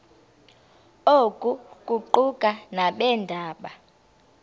oku kuquka nabeendaba